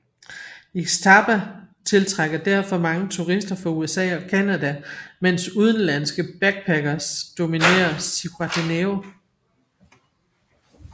Ixtapa tiltrækker derfor mange turister fra USA og Canada mens udenlandske backparkers dominere Zihuatanejo